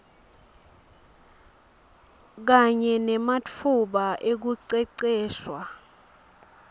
kanye nematfuba ekuceceshwa